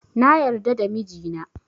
Na yarda da mijina